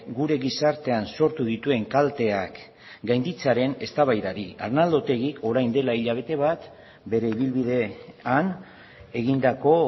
gure gizartean sortu dituen kalteak gainditzearen eztabaidari arnaldo otegi orain dela hilabete bat bere ibilbidean egindako